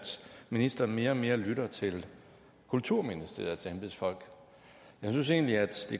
ministeren mere og mere lytter til kulturministeriets embedsfolk jeg synes egentlig at det